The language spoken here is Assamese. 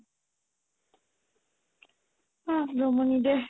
অহ জমনি দেহ